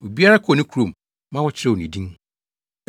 Obiara kɔɔ ne kurom ma wɔkyerɛw ne din.